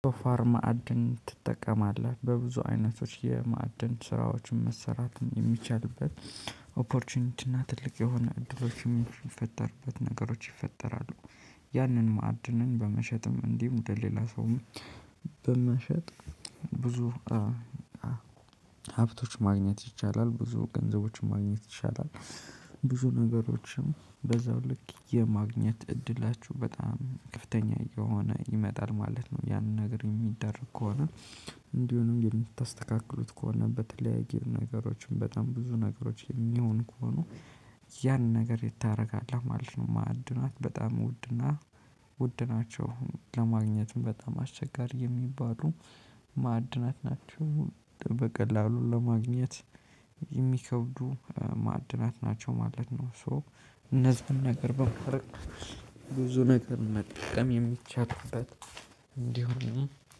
ቶፋር ማዕድን ትጠቀማለህ በብዙ አይነቶች የማዕድን ስራዎችን መሰራትን የሚቻልበት ኦፖርቹኒቲ እና ትልቅ የሆነ እድሎችን የሚፈጠሩበት ነገሮች ይፈጠራሉ። ያንን ማዕድንን በመሸጥም እንዲህ ወደ ሌላ ሰውም በመሸጥ ብዙ ሀብቶች ማግኘት ይቻላል ብዙ ገንዘቦችን ማግኘት ይቻላል። ብዙ ነገሮችን በዛው ልክ የማግኘት እድላችሁ በጣም ከፍተኛ እየሆነ ይመጣል ማለት ነው። ያንን ነገር የሚደረግ ከሆነ። እንዲሁም የምታስተካክሉት ከሆነ በተለያየ ነገሮችን በጣም ብዙ ነገሮች የሚሆን ከሆኑ። ያን ነገር የት ታረጋለህ ማለት ነው። ማዕድናት በጣም ውድና ውድ ናቸው። ለማግኘት በጣም አስቸጋሪ የሚባሉ ማዕድናት ናቸው በቀላሉ ለማግኘት የሚከብዱ ማዕድናት ናቸው ማለት ነው። ሶ እነዛን ነገር በማረግ ብዙ ነገር መጠቀም የሚቻልበት እንዲሆንም